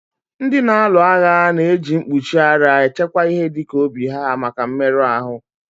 Ndị na-alu agha na èji mkpuchi ara echekwa ihe dịka obi ha maka mmerụ ahụ